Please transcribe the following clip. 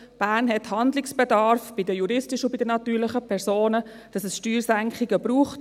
Bern hat Handlungsbedarf bei den juristischen und natürlichen Personen, sodass es Steuersenkungen braucht.